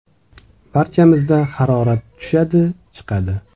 Barchamizda harorat tushadi, chiqadi.